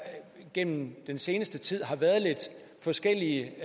gennem den seneste tid har været lidt forskellige